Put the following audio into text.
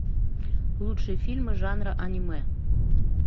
лучшие фильмы жанра аниме